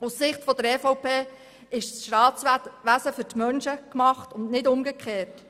Aus Sicht der EVP ist das Staatswesen für die Menschen gemacht und nicht umgekehrt.